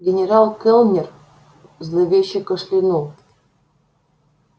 генерал кэллнер зловеще кашлянул